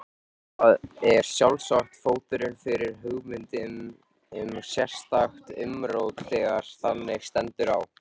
Það er sjálfsagt fóturinn fyrir hugmyndum um sérstakt umrót þegar þannig stendur á.